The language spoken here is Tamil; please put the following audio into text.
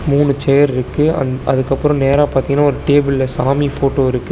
மூணு சேர் இருக்கு அந் அதுக்கப்புறோ நேரா பாத்தீங்கன்னா ஒரு டேபிள்ல சாமி ஃபோட்டோ இருக்கு.